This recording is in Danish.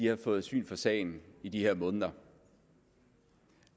har fået syn for sagen i de her måneder